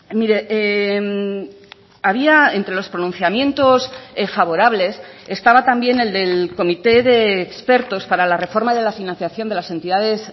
mire había entre los pronunciamientos favorables estaba también el del comité de expertos para la reforma de la financiación de las entidades